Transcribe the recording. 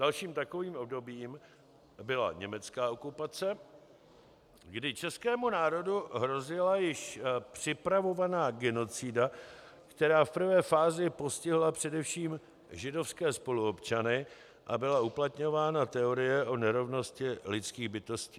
Dalším takovým obdobím byla německá okupace, kdy českému národu hrozila již připravovaná genocida, která v prvé fázi postihla především židovské spoluobčany, a byla uplatňována teorie o nerovnosti lidských bytostí.